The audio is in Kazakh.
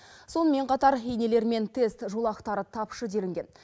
сонымен қатар инелер мен тест жолақтары тапшы делінген